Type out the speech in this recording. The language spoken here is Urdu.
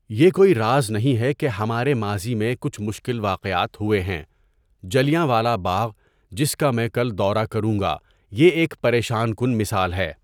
یہ کوئی راز نہیں ہے کہ ہمارے ماضی میں کچھ مشکل واقعات ہوئے ہیں جلیانوالہ باغ، جس کا میں کل دورہ کروں گا، یہ ایک پریشان کُن مثال ہے.